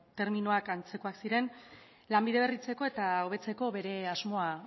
terminoak antzekoak ziren lanbide berritzeko eta hobetzeko bere asmoa